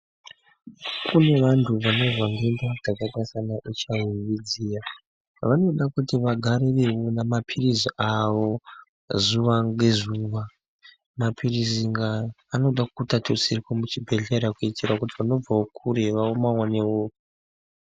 Kune vantu vanozwa ndenda dzakaita sana HIV dziya vanoda kuti vagare veimwa maphirizi avo zuwa ngezuwa maphirizi aya anoda kuti atutsirwe muchibhedhlera kuitira kuti vanobvawo kure vamaone.